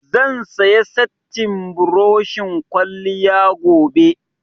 Zan saya settin buroshin kwalliya gobe